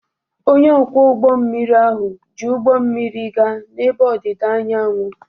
Onye ọkwọ ụgbọ mmiri ahụ ji ụgbọ mmiri gaa n'ebe ọdịda anyanwụ.